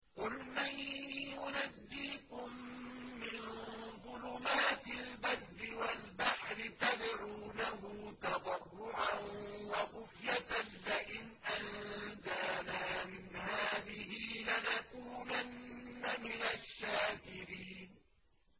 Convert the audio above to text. قُلْ مَن يُنَجِّيكُم مِّن ظُلُمَاتِ الْبَرِّ وَالْبَحْرِ تَدْعُونَهُ تَضَرُّعًا وَخُفْيَةً لَّئِنْ أَنجَانَا مِنْ هَٰذِهِ لَنَكُونَنَّ مِنَ الشَّاكِرِينَ